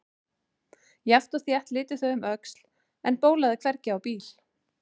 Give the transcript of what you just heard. Jafnt og þétt litu þau um öxl en bólaði hvergi á bíl.